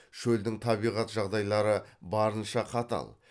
шөлдің табиғат жағдайлары барынша қатал